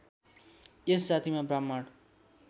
यस जातिमा ब्राह्मण